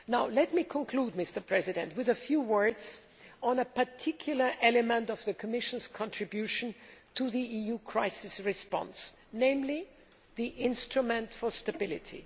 Let me conclude with a few words on a particular element of the Commission's contribution to the EU crisis response, namely the Instrument for Stability.